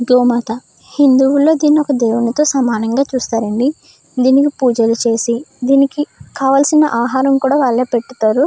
గోమాత హిందువుల దీన్ని ఒక దేవునితో సమానంగా చూస్తారండి. దీనికి పూజలు చేసి దీనికి కావాల్సిన ఆహారం కూడా వాళ్ళే పెట్ తారు.